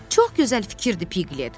Çox gözəl fikirdir, Piqlet!